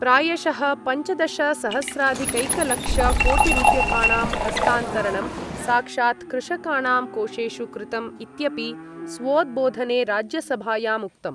प्रायशः पञ्चदशसहस्राधिकैकलक्षकोटिरुप्यकाणां हस्तान्तरणं साक्षात् कृषकाणां कोषेषु कृतम्, इत्यपि स्वोद्बोधने राज्यसभायामुक्तम्।